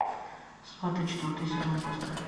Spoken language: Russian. сваты четвертый сезон поставь